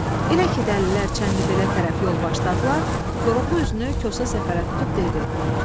Elə ki dəlilər Çənlibelə tərəf yol başladılar, Koroğlu üzünü Kosa Səfərə tutub dedi.